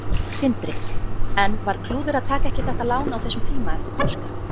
Sindri: En var klúður að taka ekki þetta lán á þessum tíma eftir páska?